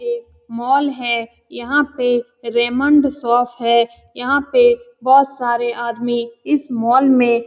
एक मॉल है यहाँ पे रेमंड शॉप है यहाँ पे बहोत सारे आदमी इस मॉल में --